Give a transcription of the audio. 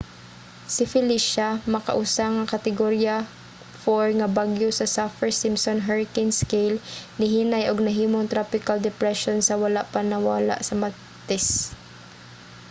si felecia makausa nga kategorya 4 nga bagyo sa saffir-simpson hurricane scale nihinay ug nahimong tropical depression sa wala pa mawala sa martes